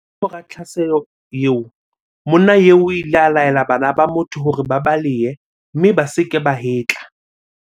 Kamora tlhaselo eo, monna eo o ile a laela bana ba motho hore ba balehe mme ba se ke ba hetla.